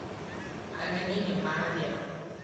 Ageni the nĩmarĩa